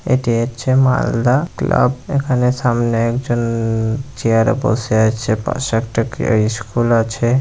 এটি হচ্ছে মালদা ক্লাব এখানে সামনে একজন উম-ম চেয়ার এ বসে আছে পাশে একটা স্কুল আছে ।